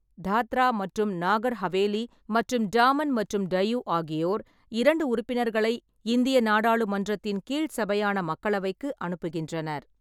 தாத்ரா மற்றும் நாகர் ஹவேலி மற்றும் டாமன் மற்றும் டையூ ஆகியோர் இரண்டு உறுப்பினர்களை இந்திய நாடாளுமன்றத்தின் கீழ் சபையான மக்களவைக்கு அனுப்புகின்றனர்.